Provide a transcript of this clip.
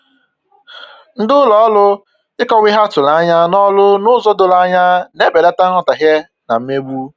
Ndị ụlọ ọrụ ịkọwa ihe a tụrụ anya n'ọrụ n'ụzọ doro anya na-ebelata nghọtahie na mmegbu